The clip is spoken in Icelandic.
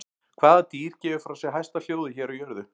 Hvað dýr gefur frá sér hæsta hljóðið hér á jörðu?